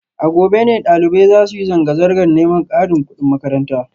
A gobe ne dalibai za su yi zanga-zangar neman karin kudin makaranta